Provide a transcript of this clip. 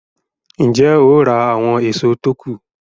Ń jẹ́ ó ra àwọn èso tó kù